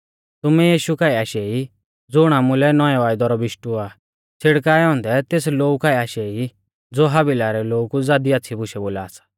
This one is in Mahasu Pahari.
तुमै यीशु काऐ आशै ई ज़ुण आमुलै नौऐं वायदै रौ बिशटु आ और छ़िड़काऐ औन्दै तेस लोऊ काऐ आशै ई ज़ो हाबिला रै लोऊ कु ज़ादी आच़्छ़ी बुशै बोला सा